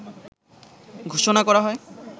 ঘোষণা করা হয়